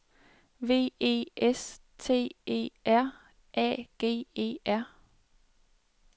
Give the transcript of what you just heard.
V E S T E R A G E R